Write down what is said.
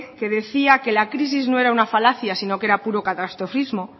que decía que la crisis no era una falacia sino que era puro catastrofismo